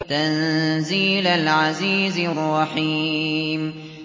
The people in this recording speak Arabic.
تَنزِيلَ الْعَزِيزِ الرَّحِيمِ